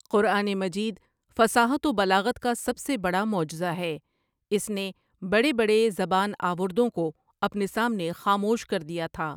قرآن مجید فصاحت و بلاغت کا سب سے بڑا معجزہ ہے اس نے بڑے بڑے زبان آوردوں کو اپنے سامنے خاموش کردیا تھا۔